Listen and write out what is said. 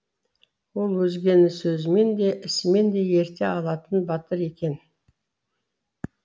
ол өзгені сөзімен де ісімен де ерте алатын батыр екен